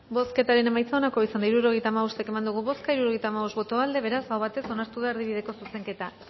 bozketaren emaitza onako izan da hirurogeita hamabost eman dugu bozka hirurogeita hamabost boto aldekoa beraz aho batez onartu da erdibideko zuzenketa